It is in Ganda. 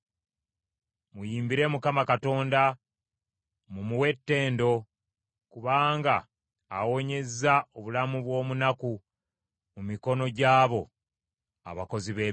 Muyimbire Mukama Katonda. Mumuwe ettendo. Kubanga awonyezza obulamu bw’omunaku mu mikono gy’abo abakozi b’ebibi.